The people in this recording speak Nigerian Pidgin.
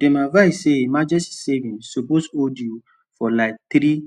dem advise say emergency savings suppose hold you for like three